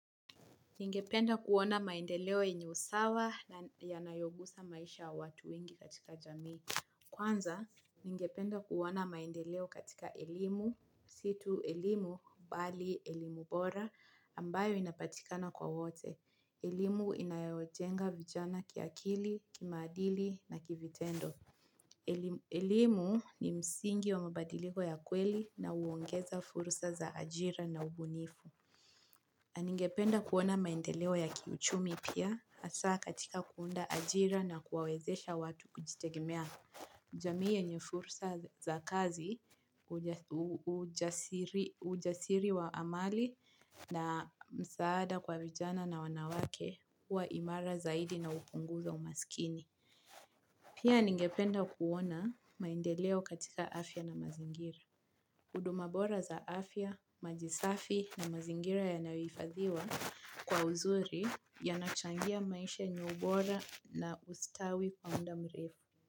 Ningependa kuona maendeleo yenye usawa na yanayogusa maisha ya watu wengi katika jamii. Kwanza, ningependa kuona maendeleo katika elimu, si tu elimu, bali elimu bora, ambayo inapatikana kwa wote. Elimu inayojenga vijana kiakili, kimaadili na kivitendo. Elimu ni msingi wa mabadiliko ya kweli na huongeza furusa za ajira na ubunifu. Na ningependa kuona maendeleo ya kiuchumi pia hasa katika kuunda ajira na kuwawezesha watu kujitegemea jamii yenye fursa za kazi ujasiri wa amali na msaada kwa vijana na wanawake huwa imara zaidi na hupunguza umasikini. Pia ningependa kuona maendeleo katika afya na mazingira. Huduma bora za afya, maji safi na mazingira yanayohifadhiwa kwa uzuri yanachangia maisha yenye ubora na ustawi kwa muda mrefu.